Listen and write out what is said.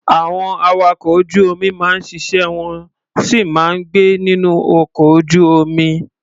Àwọn awakọ̀ ojú-omi máa ń ṣiṣẹ́, wọ́n sì máa ń gbé nínú ọkọ ojú-omi.